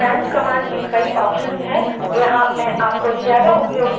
man command में कई options हैं